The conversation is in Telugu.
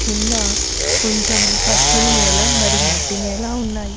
కింద కొంచెం పచ్చని నేల మరియు మట్టి నేల ఉంది.